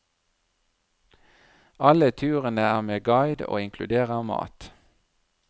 Alle turene er med guide og inkluderer mat.